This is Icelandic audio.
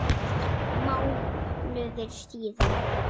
Mánuður síðan?